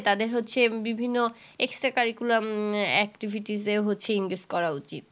তাদের হচ্ছে বিভিন্ন extra curricular activities সে হচ্ছে engaged করা উচিত।